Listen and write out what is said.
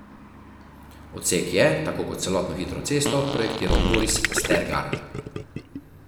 Odsek je, tako kot celotno hitro cesto, projektiral Boris Stergar.